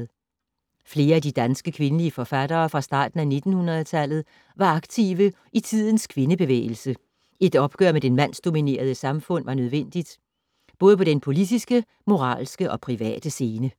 Flere af de danske kvindelige forfattere fra starten af 1900-tallet var aktive i tidens kvindebevægelse. Et opgør med det mandsdominerede samfund var nødvendigt, både på den politiske, moralske og private scene.